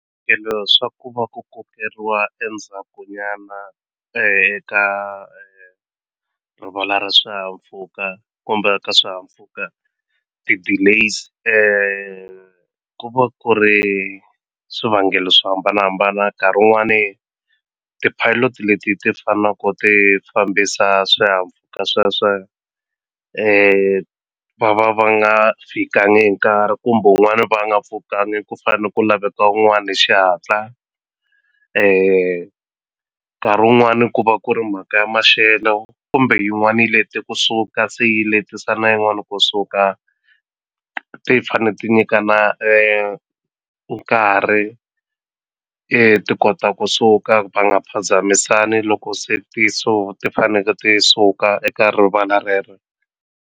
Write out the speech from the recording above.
swa ku va ku kokeriwa endzhaku nyana eka rivala ra swihahampfhuka kumbe ka swihahampfhuka ti-delays ku va ku ri swivangelo swo hambanahambana nkarhi wun'wani ti-pilot leti ti fanaku ti fambisa swihahampfhuka sweswe va va va nga fikangi hi nkarhi kumbe wun'wani va nga pfukangi ku fane ku laveka wun'wani hi xihatla nkarhi wun'wani ku va ku ri mhaka ya maxelo kumbe yin'wani yi lete kusuka se yi letise na yin'wani kusuka ti fane ti nyikana nkarhi ti kota kusuka va nga phazamisani loko se ti ti faneke ti suka eka rivala rero.